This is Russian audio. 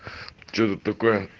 что тут такое